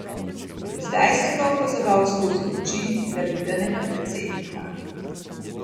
Zdaj sem ga opazoval skozi oči zaljubljenega predsednika.